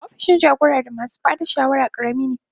Opishin jagora da masu ba da shawara karami ne.